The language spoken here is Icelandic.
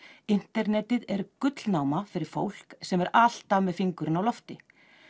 internetið er gullnáma fyrir fólk sem er alltaf með fingurinn á lofti